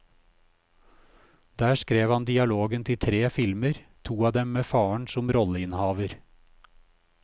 Der skrev han dialogen til tre filmer, to av dem med faren som rolleinnehaver.